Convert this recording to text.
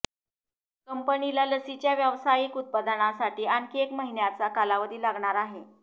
कंपनीला लसीच्या व्यावसायिक उत्पादनासाठी आणखी एक महिन्याचा कालावधी लागणार आहे